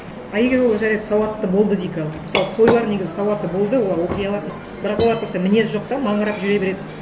а егер ол жарайды сауатты болды дейік ал мысалы қойлар негізі сауатты болды олар оқи алады бірақ олар просто мінезі жоқ та маңырап жүре береді